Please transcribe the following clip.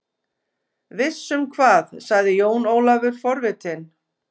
Viss um hvað, sagði Jón Ólafur forvitinn.